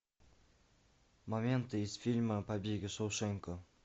моменты из фильма побег из шоушенка